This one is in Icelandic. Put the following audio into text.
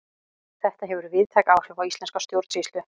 Þetta hefur víðtæk áhrif á íslenska stjórnsýslu.